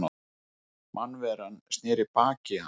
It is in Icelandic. Mannveran sneri baki í hann.